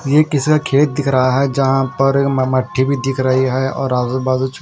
ये किसे का खेत दिख रहा है जहाँ पर मटी भी दिख रही है और आजु बाजु--